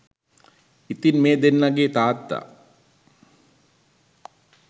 ඉතින් මේ දෙන්නගේ තාත්තා